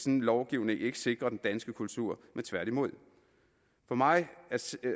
en lovgivning ikke sikre den danske kultur men tværtimod for mig